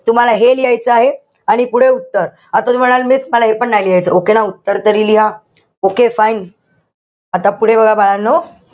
तुम्हाला हे लिहायचं आहे. आणि पुढे उत्तर. आता तुम्ही म्हणाल miss मला हे पण नाही लिहायचं. Okay ना, उत्तर तरी लिहा. Okay fine? आता पुढे बघा बाळांनो.